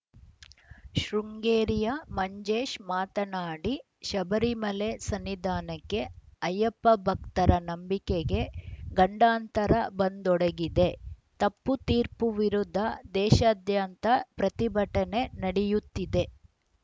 ಶೃಂಗೇರಿಯ ಮಂಜೇಶ್‌ ಮಾತನಾಡಿ ಶಬರಿಮಲೆ ಸನ್ನಿದಾನಕ್ಕೆ ಅಯ್ಯಪ್ಪ ಭಕ್ತರ ನಂಬಿಕೆಗೆ ಗಂಡಾಂತರ ಬಂದೊಡಗಿದೆ ತಪ್ಪು ತೀರ್ಪು ವಿರುದ್ಧ ದೇಶಾದ್ಯಂತ ಪ್ರತಿಭಟನೆ ನಡಯುತ್ತಿದೆ